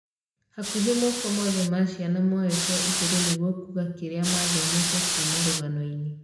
Hakuhĩ moko mothe ma ciana moyetwo igũrũ nĩgwo kuuga kĩrĩa mathomete kuma ruganoini